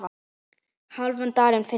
hálfan dalinn fylla